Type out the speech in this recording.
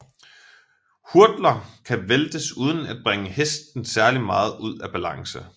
Hurdler kan væltes uden at bringe hesten særlig meget ud af balance